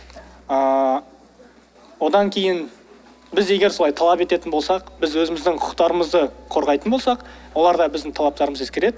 ыыы одан кейін біз егер солай талап ететін болсақ біз өзіміздің құқықтарымызды қорғайтын болсақ олар да біздің талаптарымызды ескереді